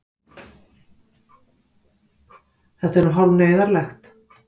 Þetta er nú hálf neyðarlegt.